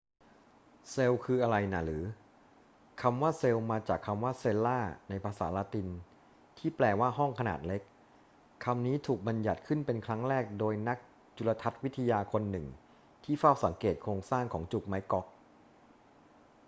เซลล์คืออะไรน่ะหรือ คำว่าเซลล์มาจากคำว่า cella ในภาษาละตินที่แปลว่า ห้องขนาดเล็ก คำนี้ถูกบัญญัติขึ้นเป็นครั้งแรกโดยนักจุลทรรศน์วิทยาคนหนึ่งที่เฝ้าสังเกตโครงสร้างของจุกไม้ก๊อก